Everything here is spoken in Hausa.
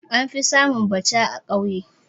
An fi samun Bacha a kauye